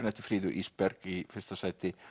eftir Fríðu Ísberg í fyrsta sæti